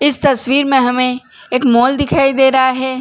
इस तस्वीर में हमे एक मॉल दिखाई दे रहा है।